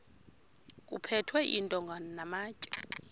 kuphethwe iintonga namatye